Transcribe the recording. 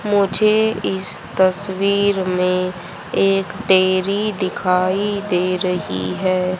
मुझे इस तस्वीर में एक देवी दिखाई दे रही है।